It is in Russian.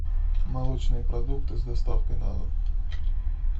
молочные продукты с доставкой на дом